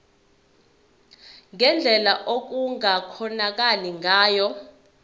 ngendlela okungakhonakala ngayo